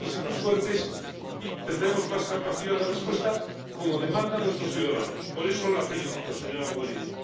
Seremos así más fuertes y tendremos más capacidad de respuesta como demandan nuestros ciudadanos. Por eso la felicito, señora Mogherini.